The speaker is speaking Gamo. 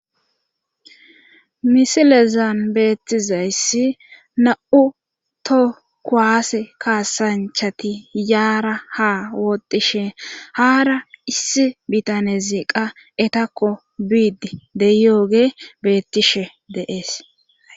misilezan beettizayssi na7u to kuwaase kaasanchati yaara ha wootishe haara issi bitanezi qa etakko biidi deyooge beettishe de,es